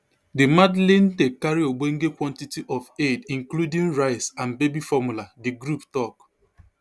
di madleen dey carry ogbonge quantity of aid including rice and baby formula di group tok